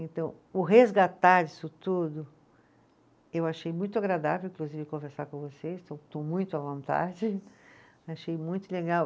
Então, o resgatar isso tudo, eu achei muito agradável, inclusive, conversar com vocês, estou muito à vontade, achei muito legal.